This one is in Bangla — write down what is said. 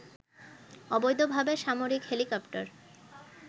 অবৈধভাবে সামরিক হেলিকপ্টার